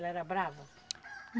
Ela era brava?